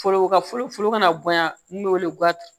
Foro ka foro kana bonya n'o bɛ wele